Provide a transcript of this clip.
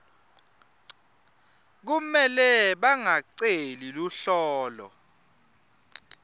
kumele bangaceli luhlolo